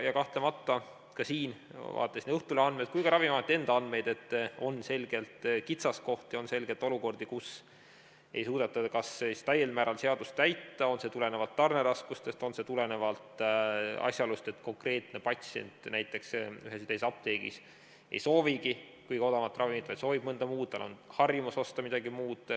Kahtlemata ka siin, vaatasin nii Õhtulehe andmeid kui ka Ravimiameti enda andmeid, on selgelt kitsaskohti, on selgelt olukordi, kus ei suudeta täiel määral seadust täita, on see siis tulenev tarneraskustest või on see tulenev asjaolust, et konkreetne patsient näiteks ühes või teises apteegis ei soovigi kõige odavamat ravimit, vaid soovib mõnda muud, tal on harjumus osta midagi muud.